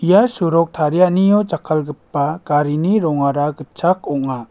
ia sorok tarianio jakkalgipa garini rongara gitchak ong·a.